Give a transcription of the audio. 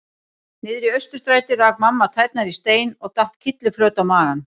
Niðri í Austurstræti rak mamma tærnar í stein og datt kylliflöt á magann.